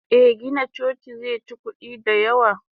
Eh Gina coci zeci kudi da yawa.